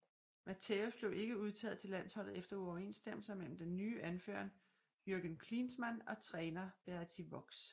Matthäus blev ikke udtaget til landsholdet efter uoverensstemmelser med den nye anfører Jürgen Klinsmann og træner Berti Vogts